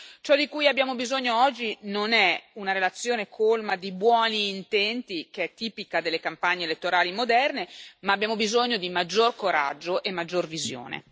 Ciò di cui abbiamo bisogno oggi non è una relazione colma di buoni intenti, che è tipica delle campagne elettorali moderne, ma di maggior coraggio e maggior visione.